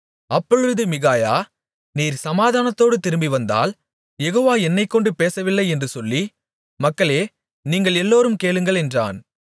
அப்பொழுது மிகாயா நீர் சமாதானத்தோடு திரும்பிவந்தால் யெகோவா என்னைக்கொண்டு பேசவில்லை என்று சொல்லி மக்களே நீங்கள் எல்லோரும் கேளுங்கள் என்றான்